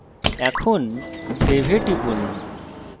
এখন save এ টিপুন